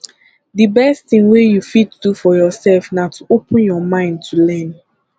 de best thing wey you fit do for yourself na to open your mind to learn